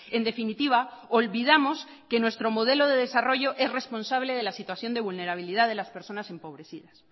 en definitiva olvidamos que nuestro modelo de desarrollo es responsable de la situación de vulnerabilidad de las personas empobrecidas